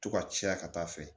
To ka caya ka taa fɛ